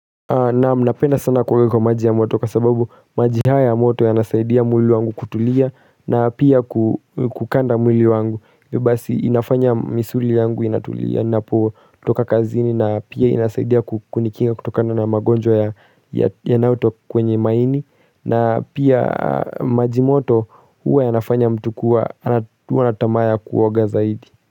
Naam napenda sana kuoga kwa maji ya moto kwa sababu maji haya ya moto yanasaidia mwili wangu kutulia na pia kukanda mwili wangu. Basi inafanya misuli yangu inatulia napo toka kazini na pia inasaidia kukunikinga kutokana na magonjwa ya yanayo kwenye maini. Na pia maji moto huwa yanafanya mtu kua, kuwa na tamaa ya kuoaga zaidi.